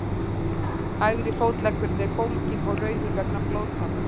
hægri fótleggurinn er bólginn og rauður vegna blóðtappa